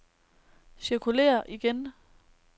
cirkulér igen